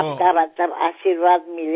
আপনার আশীর্বাদ থাকলেই